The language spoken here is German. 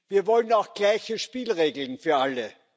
Wir wollen auch gleiche Spielregeln für alle.